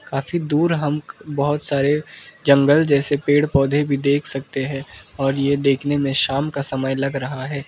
काफी दूर हम बहुत सारे जंगल जैसे पेड़ पौधे भी देख सकते हैं और ये देखने में शाम का समय लग रहा है।